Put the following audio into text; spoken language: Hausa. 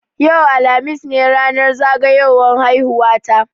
Yau, alhamis ne ranar zagayowan haihuwa ta.